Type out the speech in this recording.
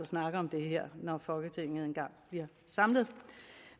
snakke om det her når folketinget en gang bliver samlet